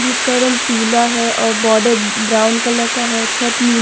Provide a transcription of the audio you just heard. जिसका रंग पीला है और बॉर्डर ब्राउन कलर का है। छत नी --